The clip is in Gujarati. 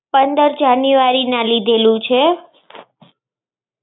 પંધર જાનેવારીના લીધેલું છે.